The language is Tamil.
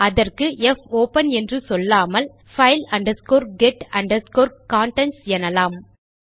அதற்கு போப்பன் என்று சொல்லாமல் file get contents எனலாம்